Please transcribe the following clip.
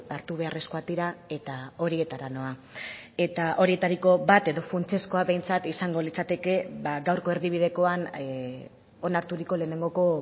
hartu beharrezkoak dira eta horietara noa eta horietariko bat edo funtsezkoa behintzat izango litzateke gaurko erdibidekoan onarturiko lehenengoko